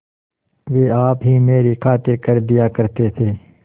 वे आप ही मेरी खातिर कर दिया करते थे